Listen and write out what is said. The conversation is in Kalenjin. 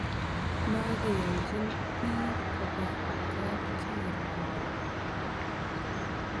Makeyonchin piik kopa kapkirwok.